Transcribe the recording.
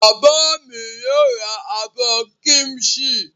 Bàbá mi yóò ra abọ́ kíḿṣì.